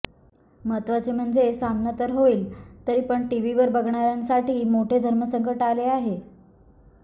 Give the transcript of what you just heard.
महत्त्वाचे म्हणजे सामना तर होईल तर पण टीव्हीवर बघणार्यांसाठी मोठे धर्मसंकट आले आहे